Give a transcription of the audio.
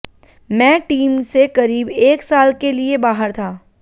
मैं टीम से करीब एक साल के लिए बाहर था